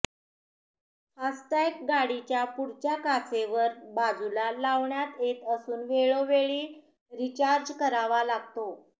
FASTag गाडीच्या पुढच्या काचेवर बाजूला लावण्यात येत असून वेळोवेळी रिचार्ज करावा लागतो